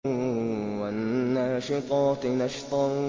وَالنَّاشِطَاتِ نَشْطًا